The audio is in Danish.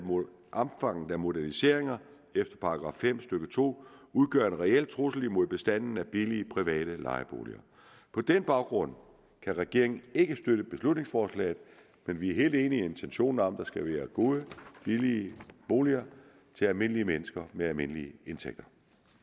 omfanget af moderniseringer efter § fem stykke to udgør en reel trussel imod bestanden af billige private lejeboliger på den baggrund kan regeringen ikke støtte beslutningsforslaget men vi er helt enige i intentionen om at der skal være gode billige boliger til almindelige mennesker med almindelige indtægter